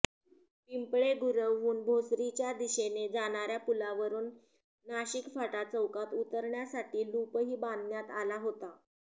पिंपळे गुरवहून भोसरीच्या दिशेने जाणार्या पुलावरून नाशिक फाटा चौकात उतरण्यासाठी लुपही बांधण्यात आला होता